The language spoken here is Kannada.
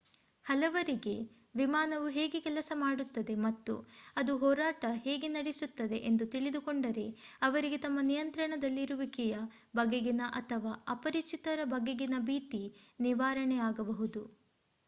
ಹಲವರಿಗೆ ವಿಮಾನವು ಹೇಗೆ ಕೆಲಸ ಮಾಡುತ್ತದೆ ಮತ್ತು ಅದು ಹಾರಾಟ ಹೇಗೆ ನಡೆಸುತ್ತದೆ ಎಂದು ತಿಳಿದುಕೊಂಡರೆ ಅವರಿಗೆ ತಮ್ಮ ನಿಯಂತ್ರಣದಲ್ಲಿರುವಿಕೆಯ ಬಗೆಗಿನ ಅಥವಾ ಅಪರಿಚಿತರ ಬಗೆಗಿನ ಭೀತಿ ನಿವಾರಣೆಯಾಗಬಹುದು